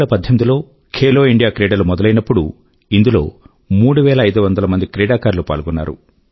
2018లో Khelo India క్రీడలు మొదలైనప్పుడు ఇందులో ముఫ్ఫై ఐదు వందల క్రీడాకారులు పాల్గొన్నారు